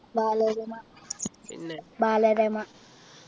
Balarama Balarama